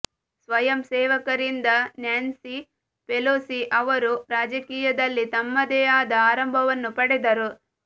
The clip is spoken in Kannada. ಸ್ವಯಂ ಸೇವಕರಿಂದ ನ್ಯಾನ್ಸಿ ಪೆಲೋಸಿ ಅವರು ರಾಜಕೀಯದಲ್ಲಿ ತಮ್ಮದೇ ಆದ ಆರಂಭವನ್ನು ಪಡೆದರು